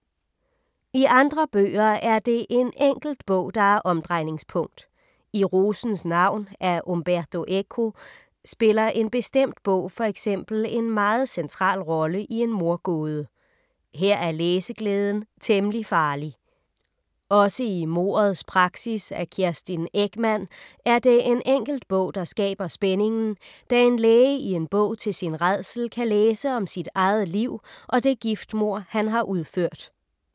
I andre bøger er det en enkelt bog, der er omdrejningspunkt. I Rosens navn af Umberto Eco spiller en bestemt bog for eksempel en meget central rolle i en mordgåde. Her er læseglæden temmelig farlig. Også i Mordets praksis af Kerstin Ekman er det en enkelt bog, der skaber spændingen, da en læge i en bog til sin rædsel kan læse om sit eget liv og det giftmord han har udført.